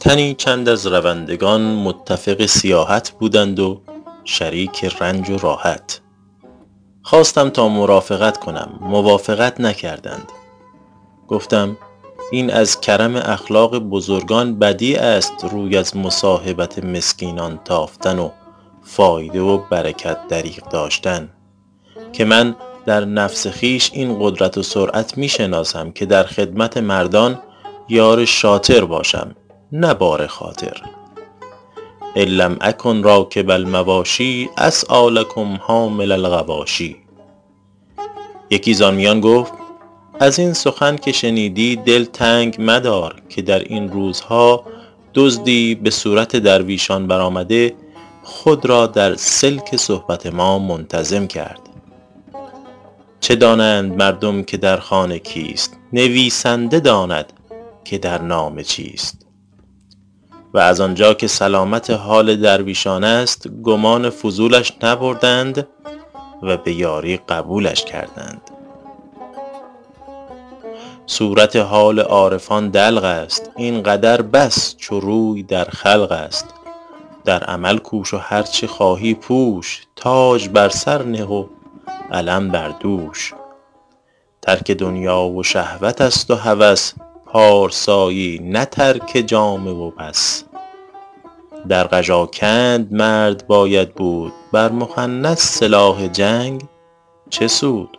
تنی چند از روندگان متفق سیاحت بودند و شریک رنج و راحت خواستم تا مرافقت کنم موافقت نکردند گفتم این از کرم اخلاق بزرگان بدیع است روی از مصاحبت مسکینان تافتن و فایده و برکت دریغ داشتن که من در نفس خویش این قدرت و سرعت می شناسم که در خدمت مردان یار شاطر باشم نه بار خاطر ان لم اکن راکب المواشی اسعیٰ لکم حامل الغواشی یکی زآن میان گفت از این سخن که شنیدی دل تنگ مدار که در این روزها دزدی به صورت درویشان برآمده خود را در سلک صحبت ما منتظم کرد چه دانند مردم که در خانه کیست نویسنده داند که در نامه چیست و از آنجا که سلامت حال درویشان است گمان فضولش نبردند و به یاری قبولش کردند صورت حال عارفان دلق است این قدر بس چو روی در خلق است در عمل کوش و هرچه خواهی پوش تاج بر سر نه و علم بر دوش ترک دنیا و شهوت است و هوس پارسایی نه ترک جامه و بس در قژاکند مرد باید بود بر مخنث سلاح جنگ چه سود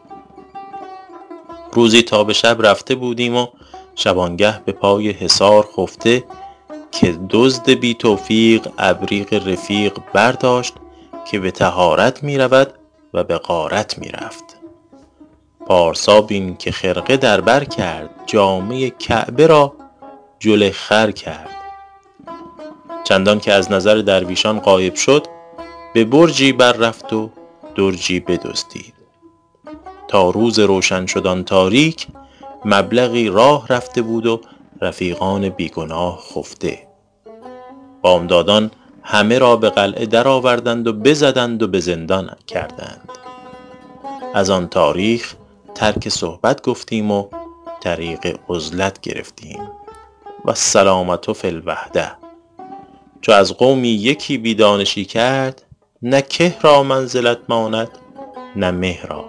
روزی تا به شب رفته بودیم و شبانگه به پای حصار خفته که دزد بی توفیق ابریق رفیق برداشت که به طهارت می رود و به غارت می رفت پارسا بین که خرقه در بر کرد جامه کعبه را جل خر کرد چندان که از نظر درویشان غایب شد به برجی بر رفت و درجی بدزدید تا روز روشن شد آن تاریک مبلغی راه رفته بود و رفیقان بی گناه خفته بامدادان همه را به قلعه درآوردند و بزدند و به زندان کردند از آن تاریخ ترک صحبت گفتیم و طریق عزلت گرفتیم والسلامة فی الوحدة چو از قومی یکی بی دانشی کرد نه که را منزلت ماند نه مه را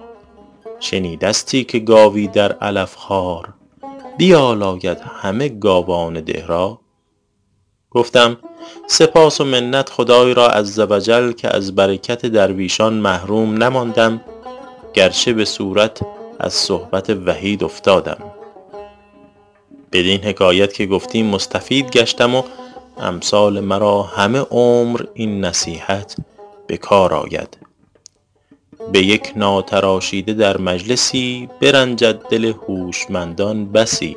شنیدستی که گاوی در علف خوار بیالاید همه گاوان ده را گفتم سپاس و منت خدای را عزوجل که از برکت درویشان محروم نماندم گرچه به صورت از صحبت وحید افتادم بدین حکایت که گفتی مستفید گشتم و امثال مرا همه عمر این نصیحت به کار آید به یک ناتراشیده در مجلسی برنجد دل هوشمندان بسی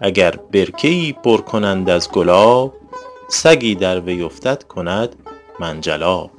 اگر برکه ای پر کنند از گلاب سگی در وی افتد کند منجلاب